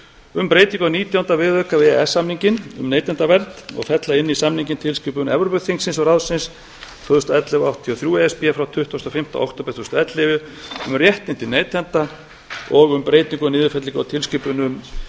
um breytingu á nítjánda viðauka við e e s samninginn um neytendavernd og fella inn samninginn tilskipun evrópuþingsins og ráðsins tvö þúsund og ellefu áttatíu og þrjú e s b frá tuttugasta og fimmta október tvö þúsund og ellefu um réttindi neytenda og um breytingu á niðurfellingu á tilskipunum